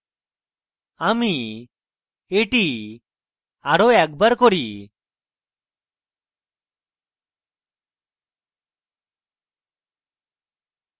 আমি এটি আরো একবার করি